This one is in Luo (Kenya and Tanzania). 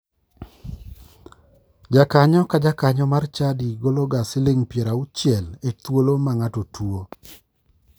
Jakanyo ka jakanyo mar chadi gologa siling piero auchiel e thuolo ma ng'ato tuo.